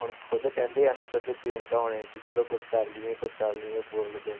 ਹੁਣ ਖੁੱਦ ਕਹਿੰਦੇ ਆ ਨਾ ਸਭ ਪ੍ਰਿਅੰਕਾ ਹੋਣੀ ਕਿ ਚਲੋ ਕੁਛ ਕਰ ਲਈਏ ਕੁਛ ਕਰ ਲਈਏ bore ਲੱਗਣ,